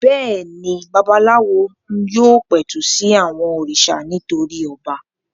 Bẹ́ẹ̀ ni, babaláwo yóò pẹ̀tù sí àwọn òrìṣà nítorí ọba.